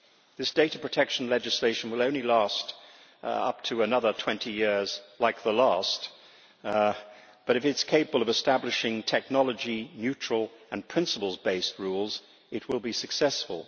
This data protection legislation will only last up to another 20 years, like the last, but if it is capable of establishing technology neutral and principles based rules, it will be successful.